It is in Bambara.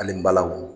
Ani balawu